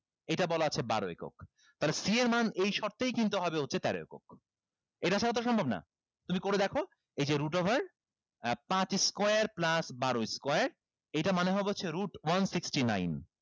এইটা বলা আছে বারো একক তাইলে c এর মান এই শর্তেই কিন্তু হবে হচ্ছে তার একক এইটা ছাড়া তো সম্ভব না তুমি করে দেখো এই যে root over পাঁচ square plus বারো square এইটা মানে হবে হচ্ছে root one sixtyn nine